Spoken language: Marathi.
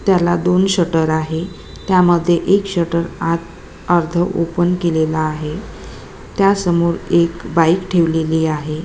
त्याला दोन शटर आहे त्या मध्ये एक शटर आत अर्ध ओपन केलेलं आहे त्या समोर एक बाइक ठेवलेली आहे.